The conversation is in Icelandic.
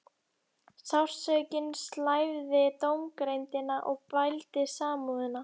Sársaukinn slævði dómgreindina og bældi samúðina.